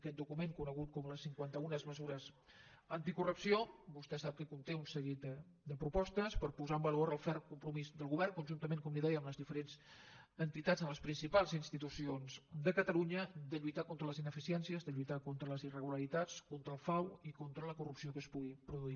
aquest document conegut com les cinquanta una mesures anticorrupció vostè sap que conté un seguit de propostes per posar en valor el ferm compromís del govern conjuntament com li deia amb les diferents entitats amb les principals institucions de catalunya de lluitar contra les ineficiències de lluitar contra les irregularitats contra el frau i contra la corrupció que es pugui produir